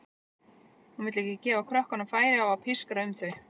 Hún vill ekki gefa krökkunum færi á að pískra um þau.